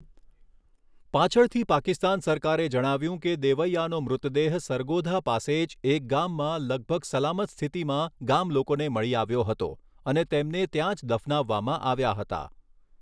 પાછળથી પાકિસ્તાન સરકારે જણાવ્યું કે દેવૈઆનો મૃતદેહ સરગોધા પાસે જ એક ગામમાં લગભગ સલામત સ્થિતિમાં ગામલોકોને મળી આવ્યો હતો અને તેમને ત્યાં જ દફનાવવામાં આવ્યા હતા.